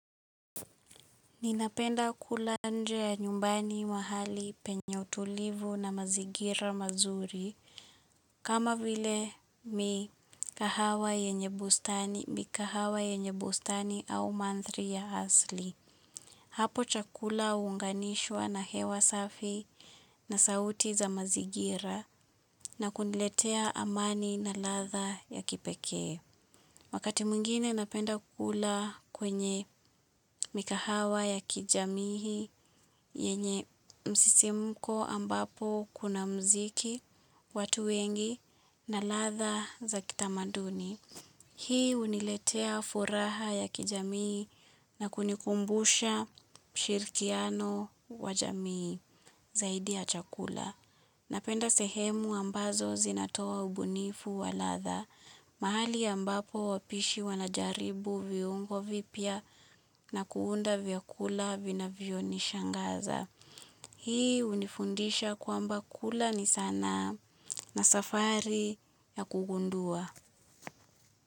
Ninapenda kula nje ya nyumbani mahali penye utulivu na mazigira mazuri kama vile mikahawa yenye bustani au manthri ya asli. Hapo chakula huunganishwa na hewa safi na sauti za mazigira na kuniletea amani na latha ya kipekee. Wakati mwngine napenda kukula kwenye mikahawa ya kijamii yenye msisimko ambapo kuna muziki watu wengi na latha za kitamaduni. Hii huniletea furaha ya kijamii na kunikumbusha shirkiano wa jamii zaidi ya chakula. Napenda sehemu ambazo zinatoa ubunifu wa latha. Mahali ambapo wapishi wanajaribu viungo vipya na kuunda vyakula vinavyo nishangaza. Hii hunifundisha kwamba kula ni sanaa na safari ya kugundua.